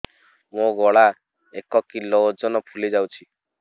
ମୋ ଗଳା ଏକ କିଲୋ ଓଜନ ଫୁଲି ଯାଉଛି